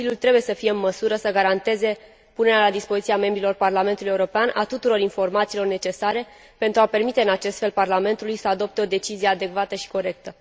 Consiliul trebuie să fie în măsură să garanteze punerea la dispoziția membrilor Parlamentului European a tuturor informațiilor necesare, pentru a permite în acest fel Parlamentului să adopte o decizie adecvată și corectă.